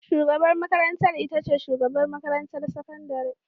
Shugabar makarantar ita ce shugabar makarantar sakandare.